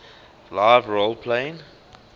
live role playing lrp